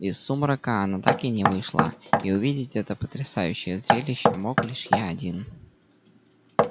из сумрака она так и не вышла и увидеть это потрясающее зрелище мог лишь я один